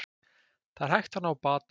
Það er hægt að ná bata